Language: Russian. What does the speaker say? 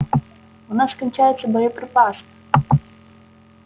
у нас кончаются боеприпасы